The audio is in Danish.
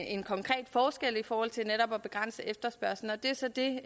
en konkret forskel i forhold til netop at begrænse efterspørgslen det er så det